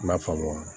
I m'a faamu